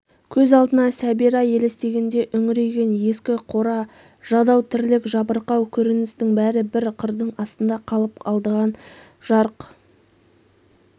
көз алдына сәбира елестегенде үңірейген ескі қора жадау тірлік жабырқау көріністің бәрі бір қырдың астында қалып алдынан жарқ